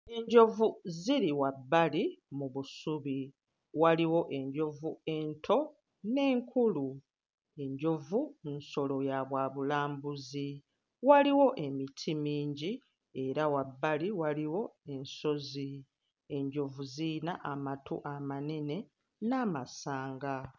Enjovu ziri wabbali mu busubi, waliwo enjovu ento n'enkulu, enjovu nsolo ya bwa bulambuzi, waliwo emiti mingi era wabbali waliwo ensozi, enjovu ziyina amatu amanene n'amasanga.